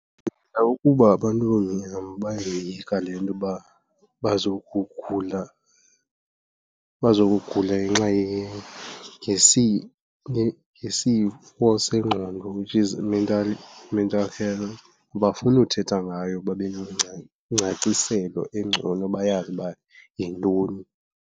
Ndicinga ukuba abantu abamnyama bayoyika le nto uba bazokugula, bazokugula ngenxa ngesifo sengqondo, which is i-mental, i-mental health. Abafuni uthetha ngayo babe ingcaciselo engcono bayazi uba yintoni.